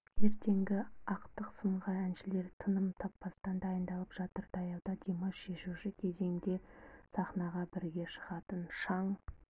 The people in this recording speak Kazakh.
ертеңгі ақтық сынға әншілер тыным таппастан дайындалып жатыр таяуда димаш шешуші кезеңде сахнаға бірге шығатын шаң